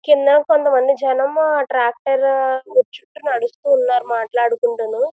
కిందన కొంతమంది జనంము ట్రాక్టరు ఉరు చుట్టూ నడుస్తున్నారు మాట్లాడుకుంటును.